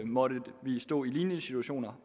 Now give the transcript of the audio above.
måtte vi stå i lignende situationer